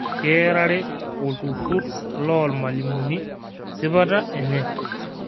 Kearare olturrur loo lmalimuni sipata enye